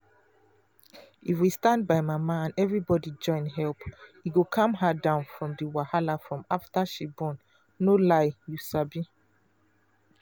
if we stand by mama and everybody join help e go calm her down from the wahala from after she born no lieyou sabi.